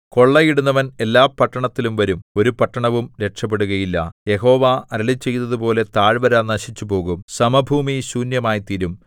കൊള്ളയിടുന്നവൻ എല്ലാ പട്ടണത്തിലും വരും ഒരു പട്ടണവും രക്ഷപെടുകയില്ല യഹോവ അരുളിച്ചെയ്തതുപോലെ താഴ്വര നശിച്ചുപോകും സമഭൂമി ശൂന്യമായിത്തീരും